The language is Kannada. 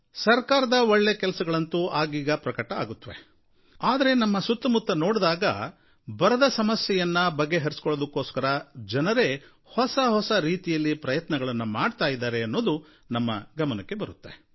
ಸರಕಾರದ ಒಳ್ಳೆ ಕೆಲಸಗಳಂತೂ ಆಗೀಗ ಪ್ರಕಟ ಆಗುತ್ವೆ ಆದರೆ ನಮ್ಮ ಸುತ್ತಮುತ್ತ ನೋಡೋದಾದರೆ ಬರದ ಸಮಸ್ಯೆಯನ್ನು ಬಗೆಹರಿಸೋದಕ್ಕೋಸ್ಕರ ಜನರೇ ಹೊಸಹೊಸ ರೀತಿಯಲ್ಲಿ ಪ್ರಯತ್ನಗಳನ್ನು ಮಾಡ್ತಾ ಇದ್ದಾರೆ ಅನ್ನೋದು ನಮ್ಮ ಗಮನಕ್ಕೆ ಬರುತ್ತೆ